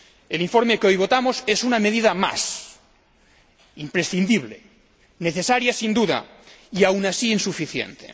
El informe que hoy votamos es una medida más, imprescindible, necesaria sin duda y, aun así, insuficiente.